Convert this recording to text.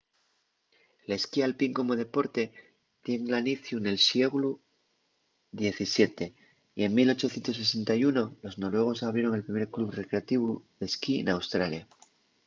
l’esquí alpín como deporte tien l’aniciu nel sieglu xvii y en 1861 los noruegos abrieron el primer club recreativu d’esquí n’australia